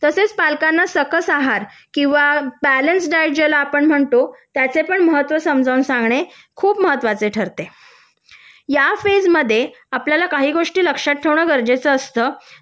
तसेच पालकांना सकस आहार किंवा बॅलन्स डाएट ज्याला आपण म्हणतो त्याचे पण महत्त्व समजावून सांगणे खूप महत्त्वाचे ठरते या फेजमध्ये आपल्याला काही गोष्टी लक्षात ठेवणं गरजेचं असतं